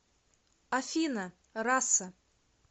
афина раса